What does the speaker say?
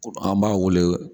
An b'a wele